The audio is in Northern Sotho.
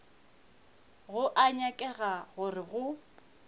go a nyakega gore go